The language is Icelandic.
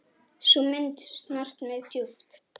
Sú mynd snart mig djúpt.